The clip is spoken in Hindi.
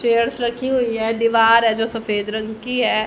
चेयर्स लगी हुई हैं दीवार है जो सफेद रंग की है।